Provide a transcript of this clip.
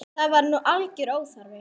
Það var nú algjör óþarfi.